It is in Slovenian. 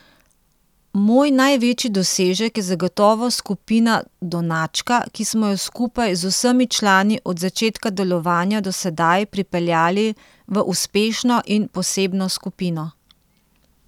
Moj največji dosežek je zagotovo skupina Donačka, ki smo jo skupaj z vsemi člani od začetka delovanja do sedaj pripeljali v uspešno in posebno skupino.